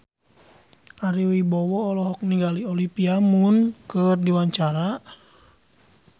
Ari Wibowo olohok ningali Olivia Munn keur diwawancara